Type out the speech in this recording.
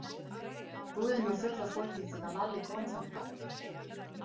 Búðin var full af fólki þegar Lalli kom þangað.